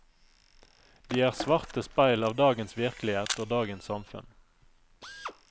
De er svarte speil av dagens virkelighet og dagens samfunn.